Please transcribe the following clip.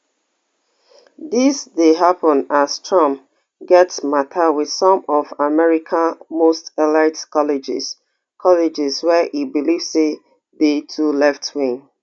dis dey happen as trump get mata with some of america most elite colleges colleges wey e believe say dey too leftwing